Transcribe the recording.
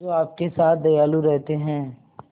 जो आपके साथ दयालु रहते हैं